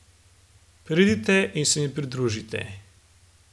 Pridite in se mi pridružite.